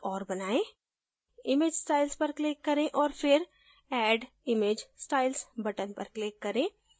एक और बनाएँ image styles पर click करें और फिर add image styles button पर click करें